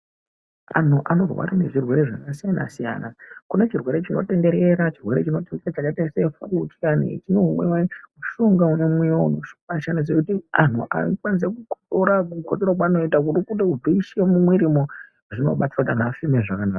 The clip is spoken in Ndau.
Anhu anorwara nezvirwere zvakasiyana-siyana kubvise mumwiirimwo. Zvinobatsira kuti anhu afeme zvakanaka.